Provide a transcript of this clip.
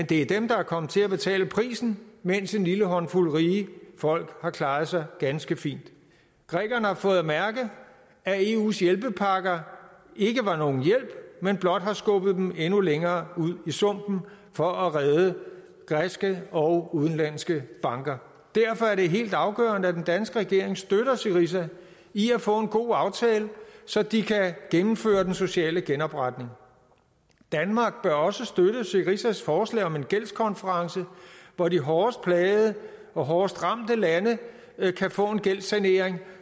det er dem der er kommet til at betale prisen mens en lille håndfuld rige folk har klaret sig ganske fint grækerne har fået mærke at eus hjælpepakker ikke var nogen hjælp men blot har skubbet dem endnu længere ud i sumpen for at redde græske og udenlandske banker derfor er helt afgørende at den danske regering støtter syriza i at få en god aftale så de kan gennemføre den sociale genopretning danmark bør også støtte syrizas forslag om en gældskonference hvor de hårdest plagede og hårdest ramte lande kan få en gældssanering